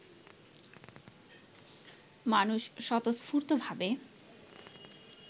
মানুষ স্বতঃস্ফূর্ত ভাবে